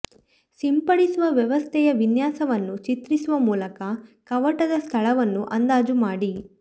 ಸಿಂಪಡಿಸುವ ವ್ಯವಸ್ಥೆಯ ವಿನ್ಯಾಸವನ್ನು ಚಿತ್ರಿಸುವ ಮೂಲಕ ಕವಾಟದ ಸ್ಥಳವನ್ನು ಅಂದಾಜು ಮಾಡಿ